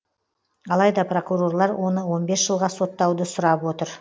алайда прокурорлар оны он бес жылға соттауды сұрап отыр